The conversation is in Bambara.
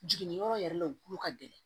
Jiginniyɔrɔ yɛrɛ la glo ka gɛlɛn